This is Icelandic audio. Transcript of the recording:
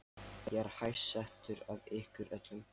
Ég er hæst settur af ykkur öllum!